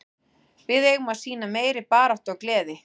Við eigum að sýna meiri baráttu og gleði.